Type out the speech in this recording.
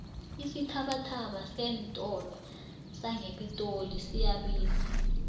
isithabathaba seentolo sangepitori siyabiza